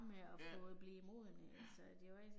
Ja, ja